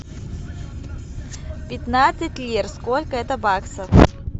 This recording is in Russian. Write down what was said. пятнадцать лир сколько это баксов